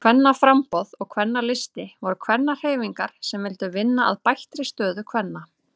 Kvennaframboð og Kvennalisti voru kvennahreyfingar sem vildu vinna að bættri stöðu kvenna.